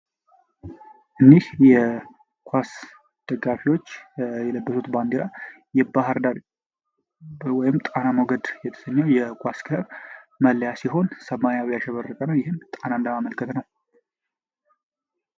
እኝህ የኳስ ደጋፊዎች የለበሱት ባንድራ የባህር ዳር ወይም ጣና ሞገድ የተሰኘው መለያ ሲሆን ይህም በሰማያዊ ቀለም ያሸበረ ነው ይህም ጣናን ለማመልከት ነው።